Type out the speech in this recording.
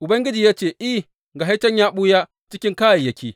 Ubangiji ya ce, I, ga shi can, ya ɓuya cikin kayayyaki.